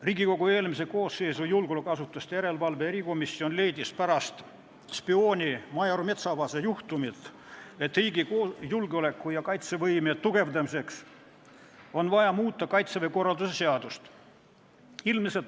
Riigikogu eelmise koosseisu julgeolekuasutuste järelevalve erikomisjon leidis pärast spiooni major Metsavase juhtumit, et riigi julgeoleku ja kaitsevõime tugevdamiseks on vaja muuta Kaitseväe korralduse seadust.